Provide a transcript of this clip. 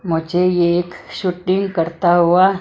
मुझे ये एक शूटिंग करता हुआ--